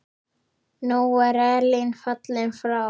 Nú er Elín fallin frá.